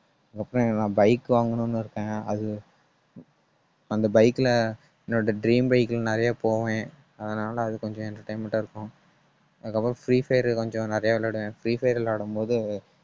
அதுக்கப்புறம் நான் bike வாங்கணும்னு இருக்கேன். அது அந்த bike ல என்னோட dream bike ல நிறைய போவேன். அதனால அது கொஞ்சம் entertainment ஆ இருக்கும் அதுக்கப்புறம் free fire கொஞ்சம் நிறையா விளையாடுவேன். free fire விளையாடும்போது